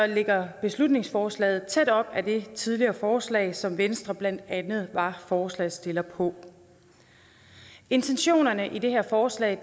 ligger beslutningsforslaget tæt op ad det tidligere forslag som venstre blandt andet var forslagsstiller på intentionerne i det her forslag